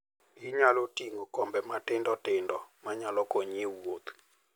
Inyalo ting'o kombe matindo tindo manyalo konyi e wuoth.